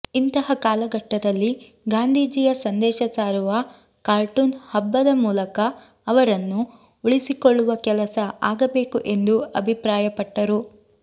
ಇಂತಹ ಕಾಲಘಟ್ಟದಲ್ಲಿ ಗಾಂಧೀಜಿಯ ಸಂದೇಶ ಸಾರುವ ಕಾರ್ಟೂನ್ ಹಬ್ಬದ ಮೂಲಕ ಅವರನ್ನು ಉಳಿಸಿಕೊಳ್ಳುವ ಕೆಲಸ ಆಗಬೇಕು ಎಂದು ಅಭಿಪ್ರಾಯ ಪಟ್ಟರು